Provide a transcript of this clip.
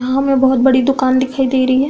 हाँ हमें बहोत बड़ी दुकान दिखाई दे रही है।